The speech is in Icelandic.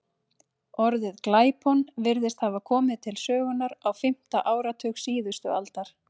Orðið glæpon virðist hafa komið til sögunnar á fimmta áratug síðustu aldar.